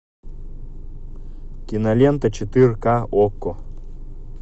кинолента четырка окко